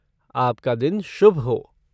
आपका दिन शुभ हो।